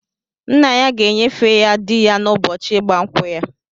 Nna ya ga-enyefe ya di ya n'ụbọchị ịgba nkwụ ya.